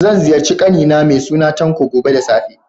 Zan ziyarci ƙani na mai suna Tanko, gobe da safe.